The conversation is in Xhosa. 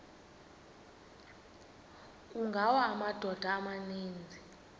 kungawa amadoda amaninzi